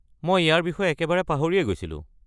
মই ইয়াৰ বিষয়ে একেবাৰে পাহৰিয়েই গৈছিলোঁ।